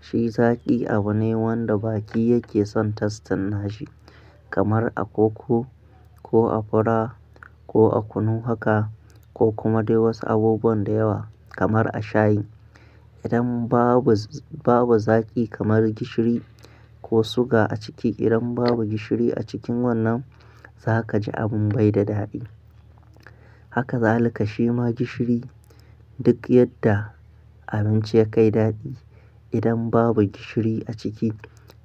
shi zaki abu ne wanda baki yake son tastin na shi kamar a koko ko a fura ko a kunu haka ko kuma dai wasu abubuwan da yawa kamar a shayi. Idan babu zaz, babu zaki kamar gishiri ko suga a ciki idan babu gishiri a cikin wannan za ka ji abin bai da daɗi. Haka za lika shi ma gishiri duk yadda abinci ya kai daɗi. Idan babu gishiri a ciki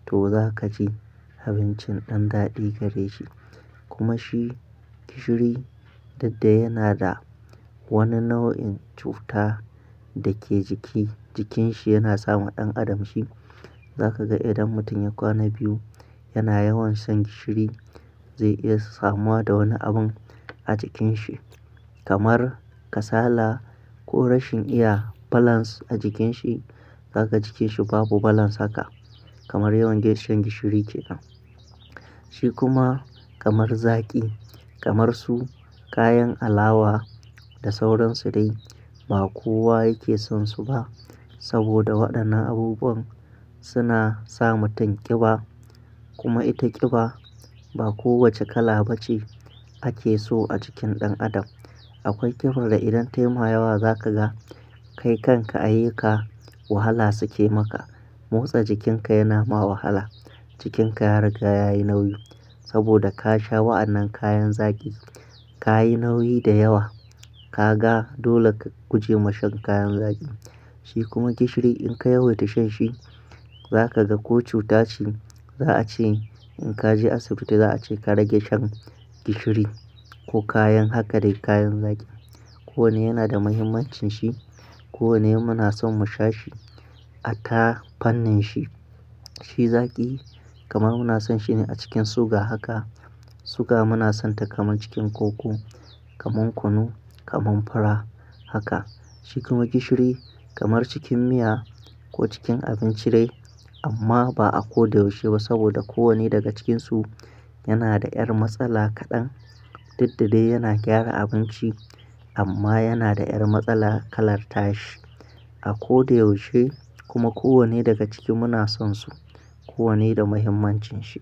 to za ka ji abincin ɗan daɗi gare shi. Kuma shi gishiri didda yana da wani nau'in cuta da ke jiki, jikin shi yana samu ɗan adam shi. Za ka ga idan mutum ya kwana biyu yana yawan shan gishiri zai iya samuwa da wani abin a jikin shi kamar kasala ko rashin iya balance a jikin shi. Za ka ga jikin shi babu balance haka kamar yawan shan gishiri ke damun. Shi kuma kamar zaki kamar su kayan alawa da sauransu dai ba kowa yake son su ba saboda waɗannan abubuwan suna sa mutum ƙiba. Kuma ita ƙiba ba kowace kala ba ce ake so a jikin ɗan adam. Akwai ƙiba da idan tema yawa za ka ga kai kanka ayyuka wahala suke maka. Motsa jikin ka yana ma wahala, jikin ka ya riga ya yi nauyi saboda ka sha wa'annan kayan zaki. Ka yi nauyi da yawa ka ga dole ka guje ma shan kayan zaki. Shi kuma gishiri in ka yawaita shan shi za ka ga ko cuta ce. Za a ce in ka je asibiti za a ce ka rage shan gishiri ko kayan haka dai kayan zaki. Ko wane yana da muhimmancin shi. Ko wane muna son mu sha shi a tafarnin shi. Shi zaki kamar muna son shi ne a cikin suga haka. Suga muna son ta kamar cikin koko, kamar kunu, kamar fura haka. Shi kuma gishiri kamar cikin miya ko cikin abinci dai amma ba a ko da yaushe ba saboda ko wane daga cikinsu yana da ƴar matsala kaɗan. Didda dai yana gyara abinci amma yana da ƴar matsala kalarta shi. A ko da yaushe kuma ko wane daga ciki muna son su. Ko wane da muhimmancin shi.